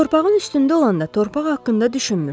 Torpağın üstündə olanda torpaq haqqında düşünmürsən.